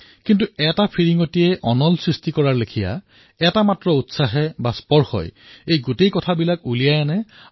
কিন্তু যদি এটা সৰু অঙঠাও তাক স্পৰ্শ কৰে যদি সি পুনৰ বাৰ উদ্ভাসিত হৈ উঠে আৰু পাৰ হৈ যোৱা দিনসমূহ নিজলৈ টানি আনে